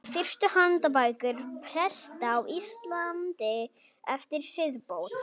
Fyrstu handbækur presta á Íslandi eftir siðbót.